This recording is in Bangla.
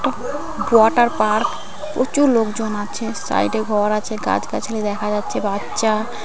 ওয়াটার পার্ক প্রচুর লোকজন আছে সাইড এ ঘর আছে গাছ-গাছালি দেখা যাচ্ছে বাচ্চা--